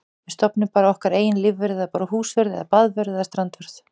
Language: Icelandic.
Við stofnum bara okkar eigin lífvörð eða bara húsvörð eða baðvörð eða strandvörð.